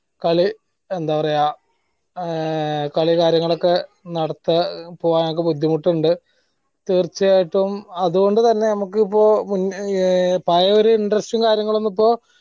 കളി എന്താ പറയാ ആഹ് കളികാര്യങ്ങളൊക്കെ നടത്ത പോവാൻ ഞങ്ങൾക്ക് ബുദ്ധിമുട്ടുണ്ട് തീർച്ചയായിട്ടും അത് കൊണ്ട് തന്നെ നമ്മക്ക് ഇപ്പൊ മു പയ്യെ ഒരു interest ഉം കാര്യങ്ങളും ഒന്നും ഇപ്പൊ